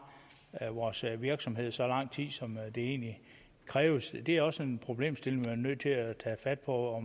vores virksomhed i så lang tid som der egentlig kræves det er også en problemstilling man er nødt til at tage fat på